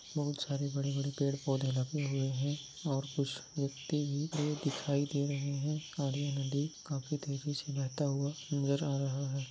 बहुत सारे बडे-बडे पेड़ पौधे लगे हुए है और कुछ व्यक्ति भी दिखाई दे रहे है नदी काफी तेज़ी से बहता हुआ नज़र आ रहा है।